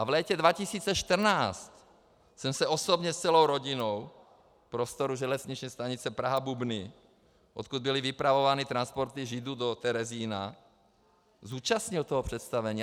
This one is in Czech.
A v létě 2014 jsem se osobně s celou rodinou v prostoru železniční stanice Praha-Bubny, odkud byly vypravovány transporty Židů do Terezína, zúčastnil toho představení.